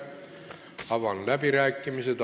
Avan läbirääkimised.